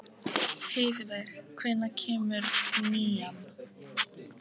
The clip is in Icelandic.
Heiðveig, hvenær kemur nían?